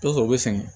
T'a sɔrɔ u be sɛgɛn